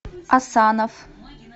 асанов